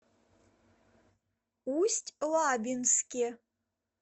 усть лабинске